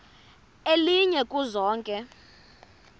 elinye kuzo zonke